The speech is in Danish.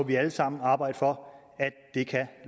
vi alle sammen arbejde for